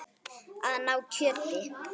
Að ná kjöri.